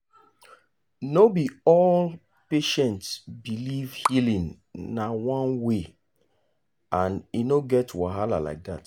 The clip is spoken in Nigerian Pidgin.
no be all patients believe healing na one way and e no get wahala like that.